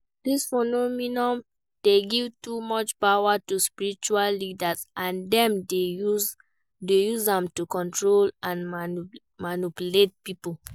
Dis phenomenon dey give too much power to spiritual leaders, and dem dey use am to control and manipulate people.